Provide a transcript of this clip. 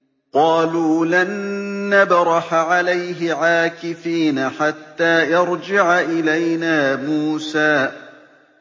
قَالُوا لَن نَّبْرَحَ عَلَيْهِ عَاكِفِينَ حَتَّىٰ يَرْجِعَ إِلَيْنَا مُوسَىٰ